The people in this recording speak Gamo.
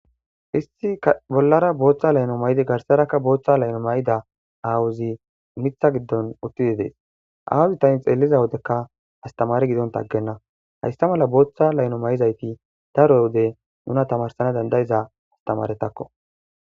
Isti bollara booththa layno may7di garsarakka booththa layno may7ida awuzi mitha giddon uttidi dees awuzi tani xelliza wodekka astamari gidontaaggenna hayssa mala booththa layno may7izayti daro wode nuna tamarsana dandayiza astamaretakko.